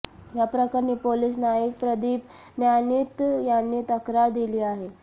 या प्रकरणी पोलिस नाईक प्रदीप न्यायनीत यांनी तक्रार दिली आहे